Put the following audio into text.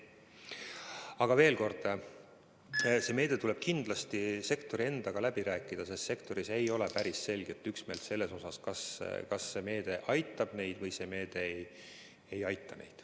Aga veel kord, see meede tuleb kindlasti sektori endaga läbi rääkida, sest sektoris ei ole päris selget üksmeelt, kas see meede aitab neid või see meede ei aita neid.